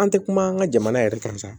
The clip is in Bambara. An tɛ kuma an ka jamana yɛrɛ kan